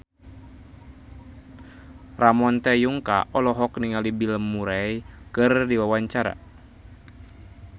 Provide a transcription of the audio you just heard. Ramon T. Yungka olohok ningali Bill Murray keur diwawancara